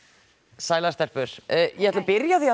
sælar stelpur ég ætla að byrja á því að